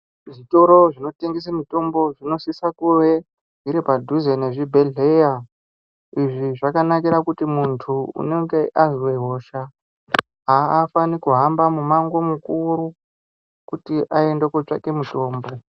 Zvitoro zvinotengese mitombo zvinosisa kuve dziri padhuze nezvibhehleya. Izvi zvakanakira kuti muntu unenge unonge azwe hosha aafani kuhamba mumango mukuru kuti aende kotsvake mitombo.